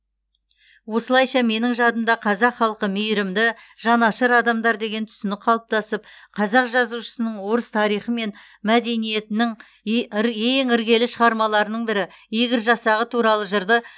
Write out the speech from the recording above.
осылайша менің жадымда қазақ халқы мейірімді жанашыр адамдар деген түсінік қалыптасып қазақ жазушысының орыс тарихы мен мәдениетінің ең іргелі шығармаларының бірі игорь жасағы туралы жырды